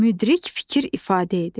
Müdrik fikir ifadə edir.